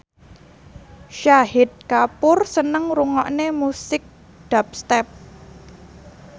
Shahid Kapoor seneng ngrungokne musik dubstep